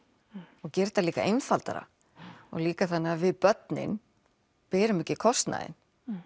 og gera þetta líka einfaldara og líka þannig að við börnin berum ekki kostnaðinn